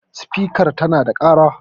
spikar tana da kara?